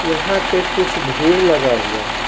यहां पे कुछ भीड़ लगा हुआ है।